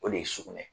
O de ye sugunɛ